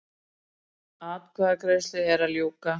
Atkvæðagreiðslu er að ljúka